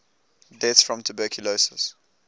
deaths from tuberculosis